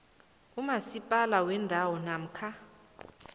kumasipala wendawo namkha